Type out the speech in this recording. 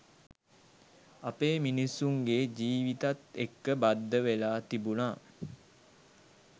අපේ මිනිස්සුන්ගේ ජීවිතත් එක්ක බද්ධ වෙලා තිබුණා.